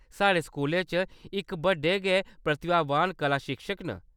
साढ़े स्कूलै च इक बड़े गै प्रतिभावान कला शिक्षक न।